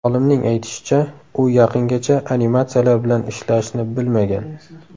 Olimning aytishicha, u yaqingacha animatsiyalar bilan ishlashni bilmagan.